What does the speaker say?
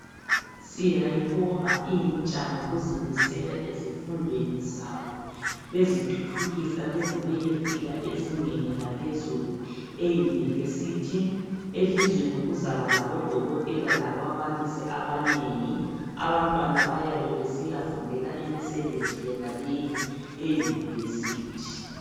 Siyayibonga intsha ngokuzimisela ezifundweni zabo bezithuthukisa beze beyefika ezingeni laphezulu eyunivesithi .Elizweni kuzaba labodokotela lababalisi abanengi. Abantwana bayabe besiyafundela imisebenzi yonaleyi eyunivesithi